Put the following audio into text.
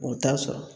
O t'a sɔrɔ